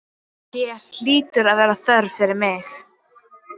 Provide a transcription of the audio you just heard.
Hér hlýtur að vera þörf fyrir mig.